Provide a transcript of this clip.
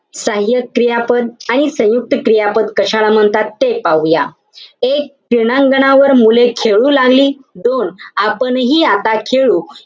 सहाय्यक क्रियापद आणि सयुंक्त क्रियापद कशाला म्हणतात, ते पाहूया. एक, क्रीडांगणावर मुले खेळू लागली. दोन, आपणही आता खेळू.